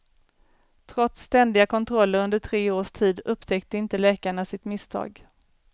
Trots ständiga kontroller under tre års tid upptäckte inte läkarna sitt misstag.